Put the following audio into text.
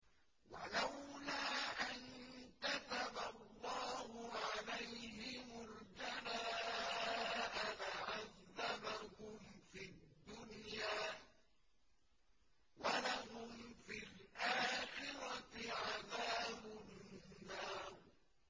وَلَوْلَا أَن كَتَبَ اللَّهُ عَلَيْهِمُ الْجَلَاءَ لَعَذَّبَهُمْ فِي الدُّنْيَا ۖ وَلَهُمْ فِي الْآخِرَةِ عَذَابُ النَّارِ